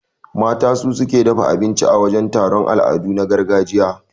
Mata su suke dafa abinci a wajan taron al'adu na gargajiya.